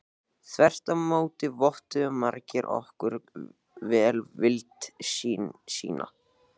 Þvert á móti vottuðu margir okkur velvild sína.